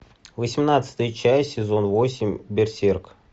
восемнадцатая часть сезон восемь берсерк